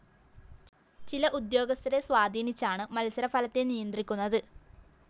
ചില ഉദ്യോഗസ്ഥരെ സ്വാധീനിച്ചാണ് മത്സരഫലത്തെ നിയന്ത്രിക്കുന്നത്